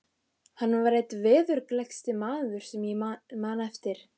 Hann var einn veðurgleggsti maður sem ég man eftir.